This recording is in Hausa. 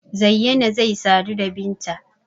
Zayyana zai sadu da Binta.